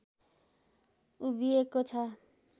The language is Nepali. उभिएको छ